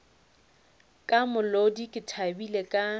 ka molodi ke thabile ka